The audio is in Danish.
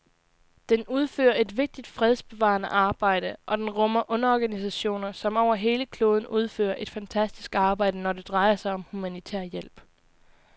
Den udfører et vigtigt fredsbevarende arbejde, og den rummer underorganisationer, som over hele kloden udfører et fantastisk arbejde, når det drejer sig om humanitær hjælp.